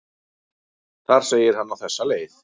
Þar segir hann á þessa leið: